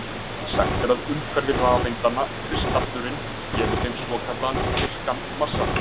Sagt er að umhverfi rafeindanna, kristallurinn, gefi þeim svo kallaðan virkan massa.